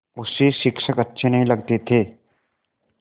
उसे शिक्षक अच्छे नहीं लगते थे